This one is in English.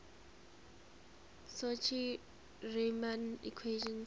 cauchy riemann equations